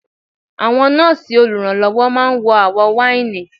Àwọn nọ́ọ̀sì olùrànlọ́wọ́ máa ń wọ àwọ̀ wáìnì.